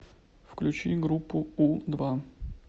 включи группу у два